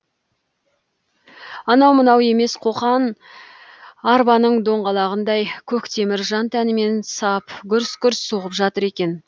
анау мынау емес қоқан арбаның доңғалағындай көк темір жан тәнімен сап гүрс гүрс соғып жатыр екен